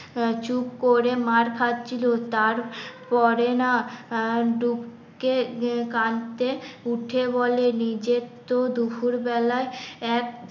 চুপ করে মার খাচ্ছি আহ লো তার পরে না আ টুক কাঁদতে, উঠে বলে নিজের তো দুপুর বেলায় এক